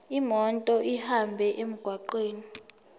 imoto ihambe emgwaqweni